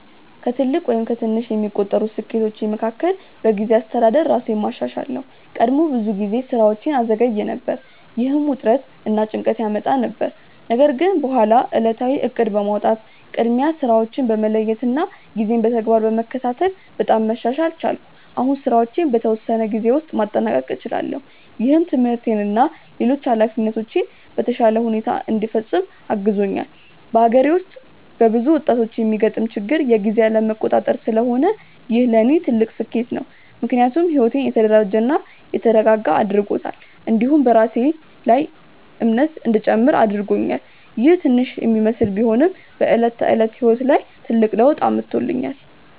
ከትልቅ ወይም ከትንሽ የሚቆጠሩ ስኬቶቼ መካከል በጊዜ አስተዳደር ራሴን ማሻሻል ነው። ቀድሞ ብዙ ጊዜ ስራዎቼን እዘገይ ነበር፣ ይህም ውጥረት እና ጭንቀት ያመጣ ነበር። ነገር ግን በኋላ ዕለታዊ እቅድ በማውጣት፣ ቅድሚያ ስራዎችን በመለየት እና ጊዜን በተግባር በመከታተል በጣም መሻሻል ቻልኩ። አሁን ስራዎቼን በተወሰነ ጊዜ ውስጥ ማጠናቀቅ እችላለሁ፣ ይህም ትምህርቴን እና ሌሎች ኃላፊነቶቼን በተሻለ ሁኔታ እንዲፈጽም አግዞኛል። በአገሬ ውስጥ በብዙ ወጣቶች የሚገጥም ችግር የጊዜ አለመቆጣጠር ስለሆነ ይህ ለእኔ ትልቅ ስኬት ነው። ምክንያቱም ሕይወቴን የተደራጀ እና የተረጋጋ አድርጎታል፣ እንዲሁም በራሴ ላይ የማምን እንዲጨምር አድርጎኛል። ይህ ትንሽ ለሚመስል ቢሆንም በዕለት ተዕለት ሕይወት ላይ ትልቅ ለውጥ አምጥቶኛል።